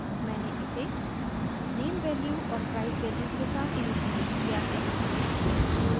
मैंने इसे name value और price value के साथ इनिशिअलाइज़ किया है